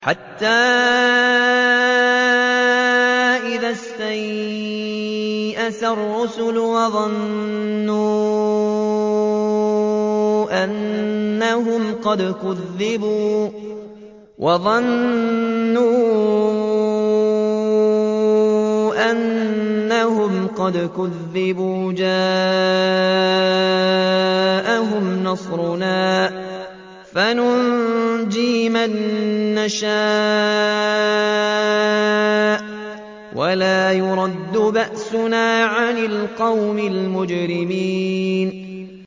حَتَّىٰ إِذَا اسْتَيْأَسَ الرُّسُلُ وَظَنُّوا أَنَّهُمْ قَدْ كُذِبُوا جَاءَهُمْ نَصْرُنَا فَنُجِّيَ مَن نَّشَاءُ ۖ وَلَا يُرَدُّ بَأْسُنَا عَنِ الْقَوْمِ الْمُجْرِمِينَ